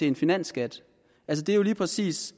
en finansskat altså det er jo lige præcis